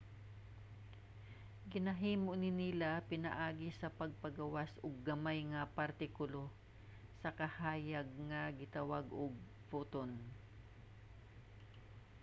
ginahimo ni nila pinaagi sa pagpagawas og gamay nga partikulo sa kahayag nga gitawag og photon